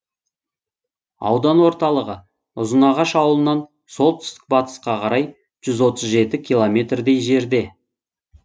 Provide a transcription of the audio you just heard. аудан орталығы ұзынағаш ауылынан солтүстік батысқа қарай жүз отыз жеті километрдей жерде